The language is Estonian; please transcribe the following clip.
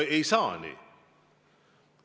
No ei saa nii!